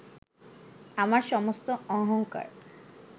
আমার সমস্ত অহংকার